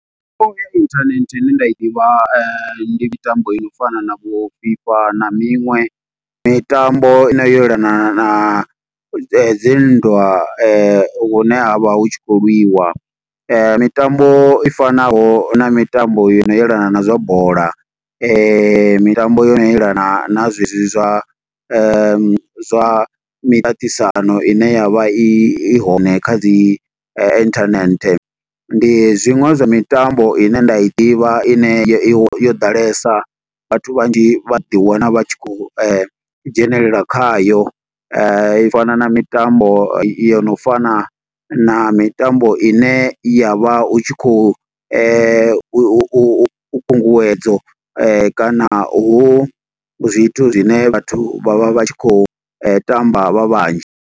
ya inthanethe ine nda i ḓivha, ndi mitambo ino fana na vho FIFA na miṅwe. mitambo i no yelana na dzi nndwa hune ha vha hu tshi khou lwiwa. Mitambo i fanaho na mitambo yo no yelana na zwa bola, mitambo yo no elana na zwe zwi zwa, zwa miṱaṱisano ine yavha i hone kha dzi internet. Ndi zwiṅwe zwa mitambo ine nda i ḓivha ine yo yo ḓalesa, vhathu vhanzhi vha ḓi wana vha tshi khou dzhenelela khayo. I fana na mitambo yo no fana na mitambo ine ya vha u tshi khou, u u u khunguwedzo kana hu zwithu zwine vhathu vha vha vha tshi khou tamba vha vhanzhi.